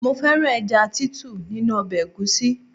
Mo fẹ́ràn ẹja Títù nínú ọbẹ̀ egusi.